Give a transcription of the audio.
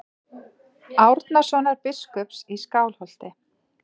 Árnasonar biskups í Skálholti.